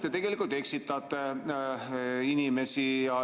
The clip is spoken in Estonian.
Minu meelest te eksitate inimesi.